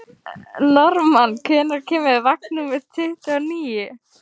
Normann, hvenær kemur vagn númer tuttugu og níu?